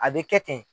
A bɛ kɛ ten